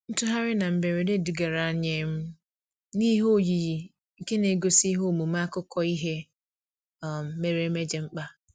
Ntugharị na mberede dugara anyị um n'ihe oyiyi nke na-egosi ihe omume akụkọ ihe um mere eme dị mkpa.